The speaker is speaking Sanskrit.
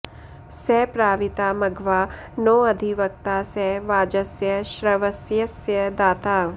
स प्रा॑वि॒ता म॒घवा॑ नोऽधिव॒क्ता स वाज॑स्य श्रव॒स्य॑स्य दा॒ता